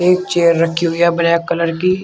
एक चेयर रखी हुई है ब्लैक कलर की।